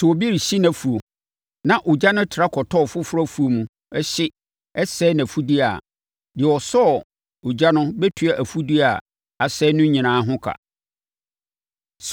“Sɛ obi rehye nʼafuo, na ogya no tra kɔtɔ ɔfoforɔ afuo mu, hye, sɛe nʼafudeɛ a, deɛ ɔsɔɔ ogya no bɛtua afudeɛ a asɛe no nyinaa ho ka.